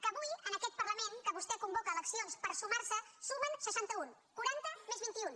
que avui en aquest parlament que vostè convoca eleccions per sumar se sumen seixanta un quaranta més vint iun